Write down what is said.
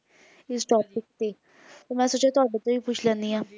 ਇਸ topic ਤੇ ਫੇਰ ਮੈਂ ਸੋਚਿਆ ਤੁਹਾਡੇ ਤੋਂ ਪੁੱਛ ਲੈਂਦੀ ਹਾਂ